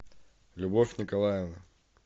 любовь николаевна